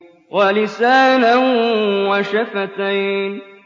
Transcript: وَلِسَانًا وَشَفَتَيْنِ